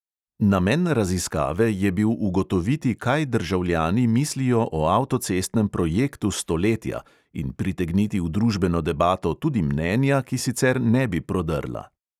Namen raziskave je bil ugotoviti, kaj državljani mislijo o avtocestnem "projektu stoletja" in pritegniti v družbeno debato tudi mnenja, ki sicer ne bi prodrla.